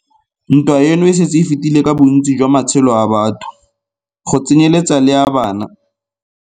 Ntwa eno e setse e fetile ka bontsi jwa matshelo a batho, go tsenyeletsa le a bana.